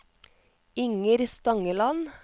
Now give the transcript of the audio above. Inger Stangeland